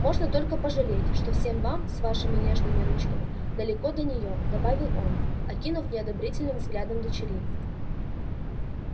можно только пожалеть что всем вам с вашими нежными ручками далеко до неё добавил он окинув неодобрительным взглядом дочерей